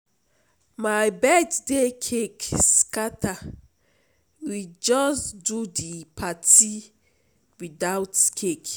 My birthday cake scatter, we just do di party without cake.